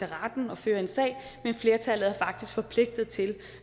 retten og føre en sag men flertallet er faktisk forpligtet til